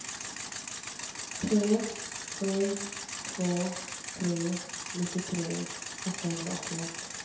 tre sju två tre nittiotre åttahundraåttioett